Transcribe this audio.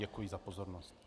Děkuji za pozornost.